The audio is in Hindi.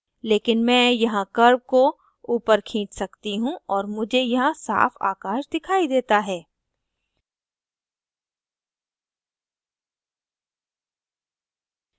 लेकिन मैं यहाँ curve को ऊपर खींच सकती हूँ और मुझे यहाँ साफ़ आकाश दिखाई देता है